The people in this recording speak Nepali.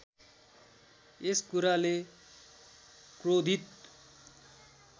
यस कुराले क्रोधित